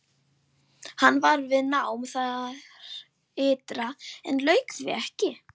Hann var við nám þar ytra en lauk því ekki.